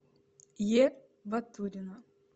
е батурина